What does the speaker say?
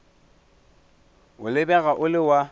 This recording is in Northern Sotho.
o lebega o le wa